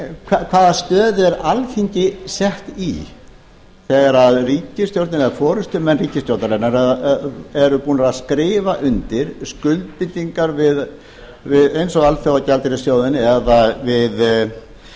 hvaða stöðu er alþingi sett í þegar ríkisstjórnin eða forustumenn ríkisstjórnarinnar eru búnir að skrifa undir skuldbindingar eins og við alþjóðagjaldeyrissjóðinn eða